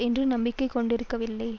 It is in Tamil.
என்று நம்பிக்கை கொண்டிருக்கவில்லை